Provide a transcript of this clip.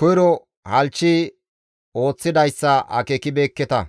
koyro halchchi ooththidayssa akeekibeekketa.